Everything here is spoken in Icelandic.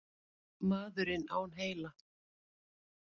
Maðurinn án heila?